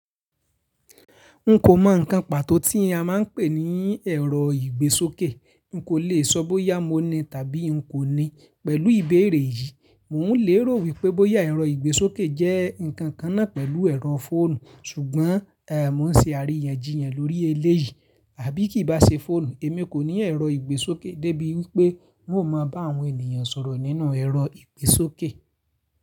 N kò mọ ǹkan pàtó tí a máa ń pè ní ẹ̀rọ ìgbésókè. N kò le sọ bóyá mo ní tàbí n kò ní. Pẹ̀lú ìbéèrè yìí, mò ún lè rò wípé bóyá ẹ̀rọ ìgbésókè jẹ́ ǹkan kan náà pẹ̀lú ẹ̀rọ fóònù. Ṣùgbọ́n, mò n ṣe àríyànjiyàn lórí eléyìí. Àbí kí bá ṣe fóònù, èmi kò ní ẹ̀rọ ìgbésókè débi wípé n ò máa bá àwọn ènìyàn sọ̀rọ̀ nínú ẹ̀rọ ìgbésókè.